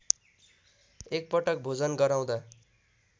एकपटक भोजन गराउँदा